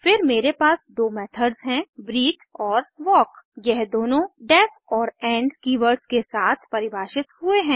फिर मेरे पास दो मेथड्स हैं ब्रीथ और वाल्क यह दोनों का डेफ और इंड कीवर्ड्स के साथ परिभाषित हुए हैं